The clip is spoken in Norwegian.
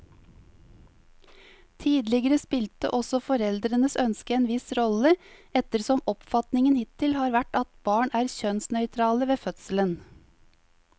Tidligere spilte også foreldrenes ønske en viss rolle, ettersom oppfatningen hittil har vært at barn er kjønnsnøytrale ved fødselen.